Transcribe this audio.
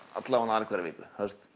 alla vega aðra hverja viku